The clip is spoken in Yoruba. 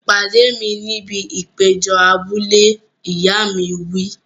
Pàdé mi níbi ìpéjọ abúlé! Ìyá mi wí.